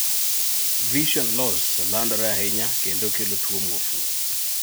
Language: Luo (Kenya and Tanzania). Vision loss landore ahinya kendo kelo tuo muofu